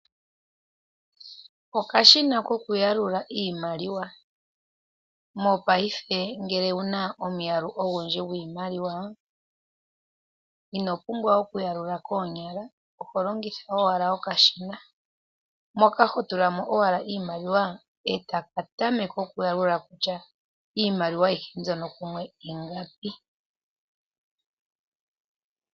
Okashina ko ku yalula iimaliwa, mopayife ngele owuna omuyalu ogundji gwiimaliwa ino pumbwa oku yalula koonyala oho longitha owala okashina moka hotula mo owala iimaliwa kotaka tameke okuyalula kutya iimaliwa ayihe mbyono kumwe ingapi.